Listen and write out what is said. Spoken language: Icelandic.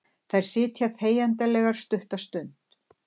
Þær sitja þegjandalegar stutta stund.